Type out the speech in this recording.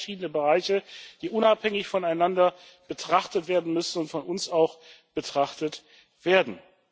Das sind zwei verschiedene Bereiche, die unabhängig voneinander betrachtet werden müssen und von uns auch betrachtet werden.